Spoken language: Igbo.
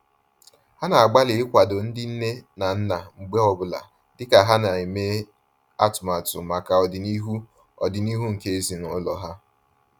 Ha na-agbalị ikwado ndị nne na nna mgbe ọ bụla dịka ha na-eme atụmatụ maka ọdịnihu ọdịnihu nke ezinaụlọ ha